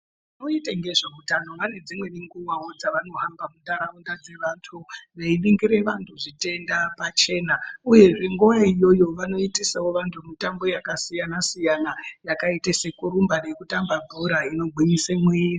Vanoite ngezveutano vane nguvawo dzevanohamba munharaunda dzevantu veiningira vantu zvitenda pachena uyezve nguwa iyoyo vanoitisa mitambo yakasiyana siyana yakaite sekurumba nekutambe bhora inogwinyise muviri.